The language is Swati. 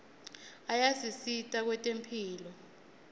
ayasisita kwetemphilo